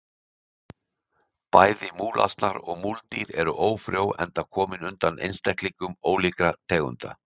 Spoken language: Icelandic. Bæði múlasnar og múldýr eru ófrjó enda komin undan einstaklingum ólíkra tegunda.